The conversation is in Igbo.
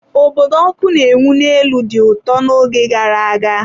Obodo ọkụ na-enwu n'elu dị ụtọ n'oge gara aga.